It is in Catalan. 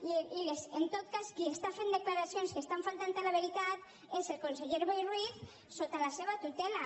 i en tot cas qui fa declaracions que falten a la veritat és el conseller boi ruiz sota la seva tutela